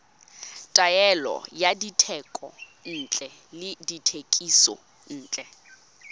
taolo ya dithekontle le dithekisontle